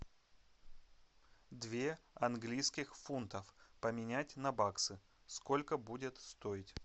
две английских фунтов поменять на баксы сколько будет стоить